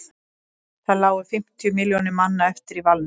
þá lágu fimmtíu milljónir manna eftir í valnum